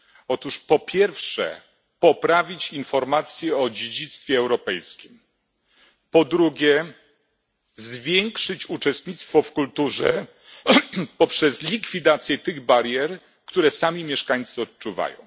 Otóż, po pierwsze poprawić informacje o dziedzictwie europejskim, po drugie zwiększyć uczestnictwo w kulturze poprzez likwidację tych barier, które sami mieszkańcy odczuwają.